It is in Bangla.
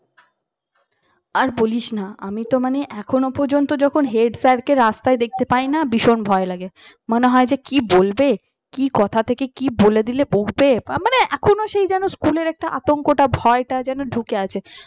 আর বলিস না আমি তো মনে এখনও পর্যন্ত যখন head sir কে রাস্তায় দেখতে পাই না ভীষণ ভয় লাগে মনে হয় যে কি বলবে কি কথা থেকে কি বলে দিলে বকবে মানে? মানে এখনো সেই যেন school এর একটা আতঙ্কটা ভয়টা যেন ঢুকে আছে